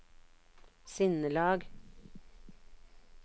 sinnelag